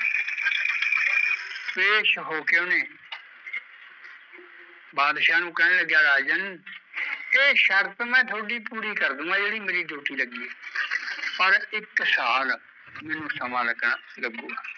ਪੇਸ਼ ਹੋ ਕੇ ਉਹਨੇ ਬਾਦਸ਼ਾਹ ਨੂ ਕਹਿਣ ਲੱਗਿਆ ਰਾਜਨ ਇਹ ਸ਼ਰਤ ਮੈਂ ਤੁਹਾਡੀ ਪੂਰੀ ਕਰਦੂਗਾ ਜਿਹੜੀ ਮੇਰੀ duty ਲੱਗੀ ਐ ਪਰ ਇੱਕ ਸਾਲ ਮੈਂਨੂੰ ਸਮਾਂ ਲੱਗਣਾ